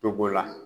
Togo la